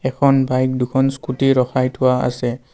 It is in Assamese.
এখন বাইক দুখন স্কুটি ৰখাই থোৱা আছে।